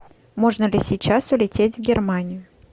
можно ли сейчас улететь в германию